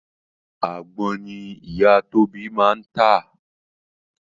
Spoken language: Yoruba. Àgbon ni ìyá Tóbi máa ń tà